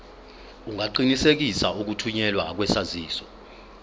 ungaqinisekisa ukuthunyelwa kwesaziso